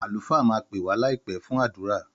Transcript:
Àlùfáà máa pè wàá láìpé fún àdúrà